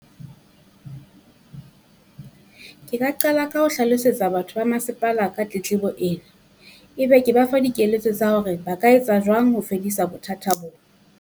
Ke ka qala ka ho hlalosetsa batho ba masepala ka tletlebo ena. Ebe ke ba fa dikeletso tsa hore ba ka etsa jwang ho fedisa bothata bo.